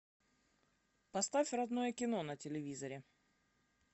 поставь родное кино на телевизоре